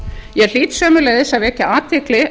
ég hlýt sömuleiðis að vekja athygli